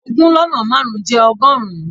Ogún lọ́nà márùn-ún jẹ́ ọgọ́rùn-ún.